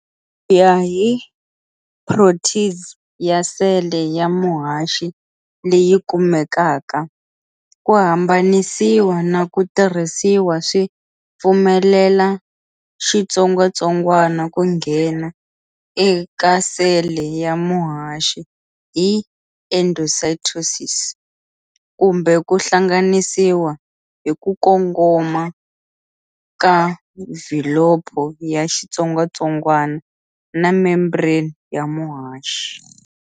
Kuya hi protease ya sele ya muhaxi leyi kumekaka, ku hambanisiwa na ku tirhisiwa swi pfumelela xitsongwatsongwana ku nghena eka sele ya muhaxi hi endocytosis kumbe ku hlanganisiwa hi ku kongoma ka mvhilopho ya xitsongwatsongwana na membrane ya muhaxi.